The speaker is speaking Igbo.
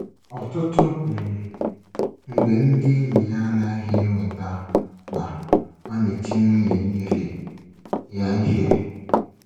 Ọtụtụ um mgbe ndị enyi ya anaghị enwetaw na ọ na-eti nwunye ya ihe. ya ihe.